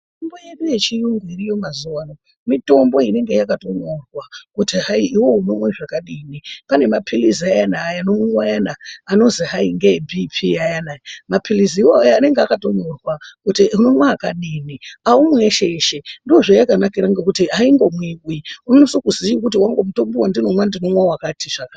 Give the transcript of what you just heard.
Mitombo yedu yechiyungu iriyo mazuva ano, mitombo inenge yakatonyorwa kuti hai, iwewe unomwe zvakadini. Pane maphiritsi ayana, anomwiwa ayana, anozwi hai ngeebhiipii ayana. Maphiritsi iwoya anenge akatonyorwa kuti unomwa akadini, aumwi eshe-eshe. Ndozvayakanakira ngokuti haingo mwiwi, unosise kuziye kuti wangu mutombo wandinomwa ndinomwa wakati zvakati.